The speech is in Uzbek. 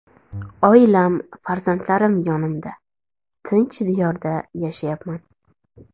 Oilam, farzandlarim yonimda, tinch diyorda yashayapman.